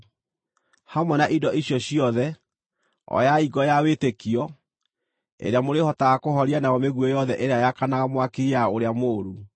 Hamwe na indo icio ciothe, oyai ngo ya wĩtĩkio, ĩrĩa mũrĩhotaga kũhoria nayo mĩguĩ yothe ĩrĩa yakanaga mwaki ya ũrĩa mũũru.